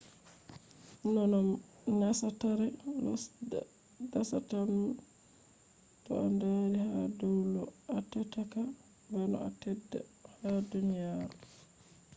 noi no dasatare lo's dasata'am? toh a dari ha dau lo atteddako bano a teddata ha duniyaro